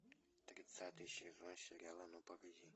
тридцатый сезон сериала ну погоди